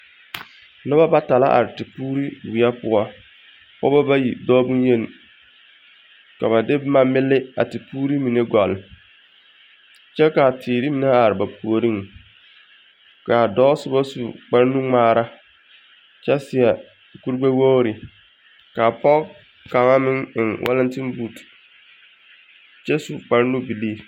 Noba bata are tepuuri weɛ poɔ. pɔgeba bayi dɔɔ boŋyeni ka ba de boma mele a tepuuri mine gɔlle kyɛ ka a teere mine are ba puoriŋ ka a dɔɔ soba su kpare nuŋmaara kyɛ seɛ kurigbɛwogiri ka pɔge kaŋa meŋ eŋ walatembuuti kyɛ su kpare nubilii.